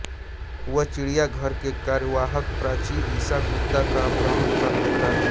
वह चिड़ियाघर के कार्यवाहक प्राची ईशा गुप्ता का अपहरण कर लेता है